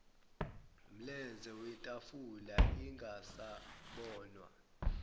mlenze wetafula ingasabonwa